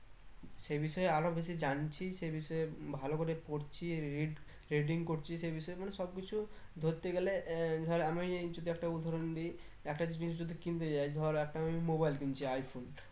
সেই বিষয়ে আরো কিছু জানছি সেই বিষয় ভালো করে পড়ছি রিড trading করছি সে বিষয় মানে সব কিছু ধরতে গেলে আহ ধর যদি আমি একটা উদাহরণ দি একটা জিনিস যদি কিনতে যাই ধর একটা আমি mobile কিনছি i -phone